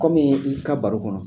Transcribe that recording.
Kɔmii i ka baro kɔnɔ